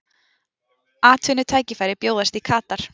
Atvinnutækifæri bjóðast í Katar